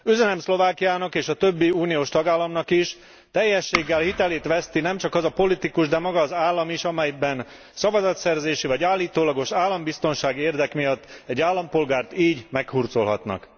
Üzenem Szlovákiának és a többi uniós tagállamnak is, teljességgel hitelét veszti nemcsak az a politikus, de maga az állam is, amelyben szavazatszerzési vagy állítólagos állambiztonsági érdek miatt egy állampolgárt így meghurcolhatnak.